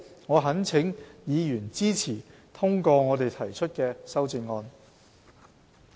我懇請議員支持通過我們提出的修正案。